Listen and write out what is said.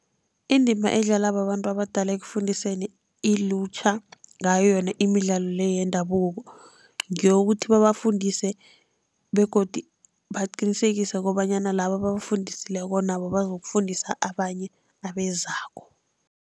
Indima edlalwa babantu abadala ekufundiseni ilutjha ngayo yona imidlalo le yendabuko, ngeyokuthi babafundise begodi baqinisekise kobanyana laba ababafundisileko nabo bazokufundisa abanye abezako.